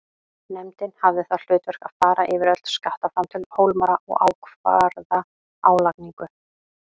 Nefndin hafði það hlutverk að fara yfir öll skattframtöl Hólmara og ákvarða álagningu.